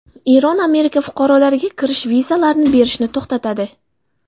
Eron Amerika fuqarolariga kirish vizalarini berishni to‘xtatadi.